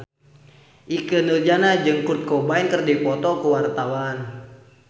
Ikke Nurjanah jeung Kurt Cobain keur dipoto ku wartawan